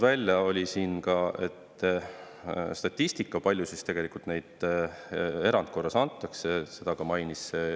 Välja oli toodud ka statistika selle kohta, palju tegelikult erandkorras antakse.